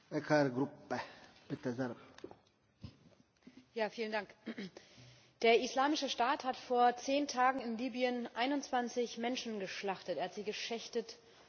Herr Präsident! Der Islamische Staat hat vor zehn Tagen in Libyen 21 Menschen geschlachtet, er hat sie geschächtet und geköpft.